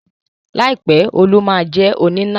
láì pẹ Òòlù má jé oníná